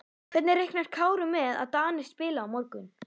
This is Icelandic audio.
Hvernig reiknar Kári með að Danir spili á morgun?